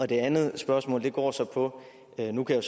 det andet spørgsmål går så på at jeg nu kan